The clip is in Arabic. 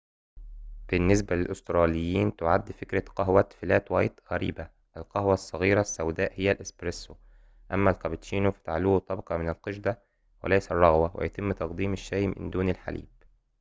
بالنسبة للأستراليين، تعد فكرة قهوة فلات وايت غريبة. القهوة الصغيرة السوداء هي الإسبرسو"، أمّا الكابتشينو فتعلوه طبقة من القشدة وليس الرغوة، ويتم تقديم الشاي من دون حليب